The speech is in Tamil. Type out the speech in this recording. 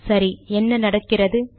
சரி என்ன நடக்கிறது